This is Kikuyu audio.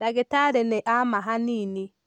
Ndagitarĩ nĩ ama hanini.